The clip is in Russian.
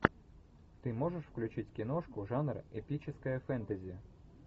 ты можешь включить киношку жанр эпическое фэнтези